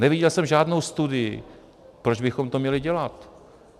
Neviděl jsem žádnou studii, proč bychom to měli dělat.